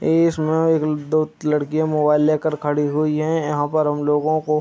ये इसमें एक-दो लड़कियाँ मोबाइल लेकर खड़ी हुई है यहाँ पर हमलोगो को --